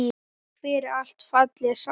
Takk fyrir allt, fallega sál.